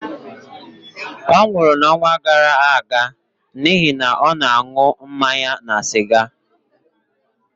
ọ nwụrụ n'ọnwa gara aga n'ihi na ọ na-aṅụ mmanya na siga